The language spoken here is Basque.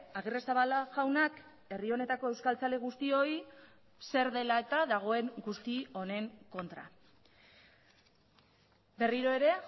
agirrezabala jaunak herri honetako euskaltzale guztioi zer dela eta dagoen guzti honen kontra berriro ere